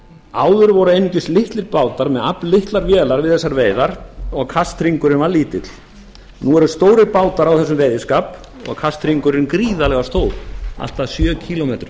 áður voru einungis litlir bátar með afllitlar vélar við þessar veiðar og kasthringurinn var lítill nú eru stórir bátar á þessum veiðiskap og kasthringurinn gríðarlega stór allt að sjö kílómetra